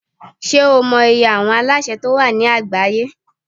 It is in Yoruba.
Ṣé o mọ iye àwọn alásè tí ó wà ní àgbáyé?